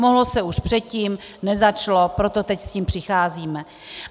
Mohlo se už předtím, nezačalo, proto teď s tím přicházíme.